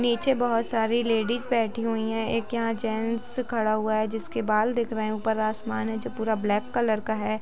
नीचे बहुत सारी लेडिज बैठी हुई हैं एक यहाँ जेन्ट्स खड़ा हुआ है जिसके बाल दिख रहे हैं। ऊपर आसमान है जो पूरा ब्लैक कलर का है।